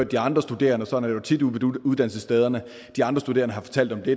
de andre studerende sådan jo tit ude på uddannelsesstederne at de andre studerende har fortalt om det